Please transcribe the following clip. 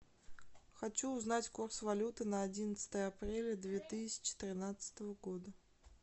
хочу узнать курс валют на одиннадцатое апреля две тысячи тринадцатого года